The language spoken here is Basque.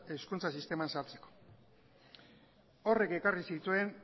hezkuntza sisteman sartzeko horrek ekarri zituen